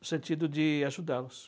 No sentido de ajudá-los.